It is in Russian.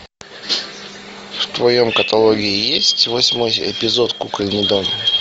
в твоем каталоге есть восьмой эпизод кукольный дом